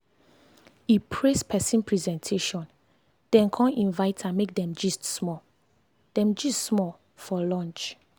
e praise person presentation then con invite am make dem gist small dem gist small for lunch.